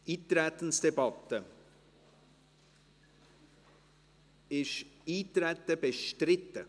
Eintretensdebatte: Ist das Eintreten bestritten